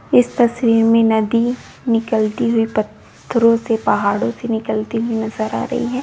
इस तस्वीर में नदी निकलती हुई पत्थरों से पहाड़ों से निकलती हुई नजर आ रही है।